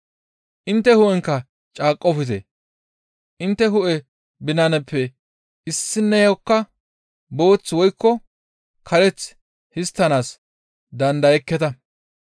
Intte hu7enkka caaqqofte; intte hu7e binanappe issineyokka booth woykko kareth histtanaas dandayekketa.